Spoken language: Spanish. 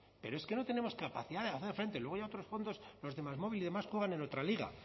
pero es que no tenemos capacidad de hacer frente luego ya otros fondos los de másmóvil y demás juegan en otra liga